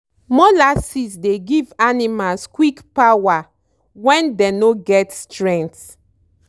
molasses dey give animals quick power when dey no get strength.